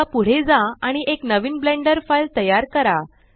आता पुढे जा आणि एक नवीन ब्लेंडर फाइल तयार करा